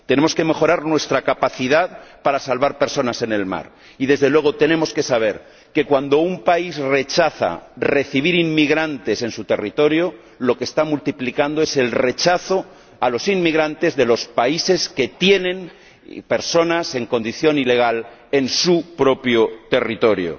Tenemos que mejorar nuestra capacidad para salvar personas en el mar y, desde luego, tenemos que saber que, cuando un país rechaza recibir inmigrantes en su territorio, lo que está multiplicando es el rechazo a los inmigrantes de los países que tienen personas en condición ilegal en su propio territorio.